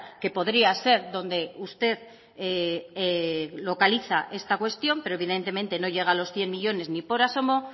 que podría ser donde usted localiza esta cuestión pero evidentemente no llega a los cien millónes ni por asomo